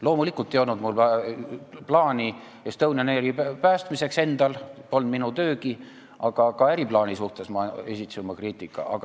Loomulikult ei olnud mul endal plaani Estonian Airi päästmiseks, see polnud minu töögi, aga tolle äriplaani kohta ma esitasin oma kriitika.